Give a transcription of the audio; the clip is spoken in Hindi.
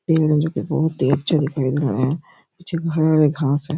ये मेरे को बहोत ही अच्छा दिख रहा है पीछे हरा-हरा घास है।